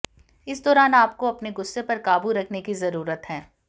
इस दौरान आपको अपने गुस्से पर काबू रखने की जरूरत है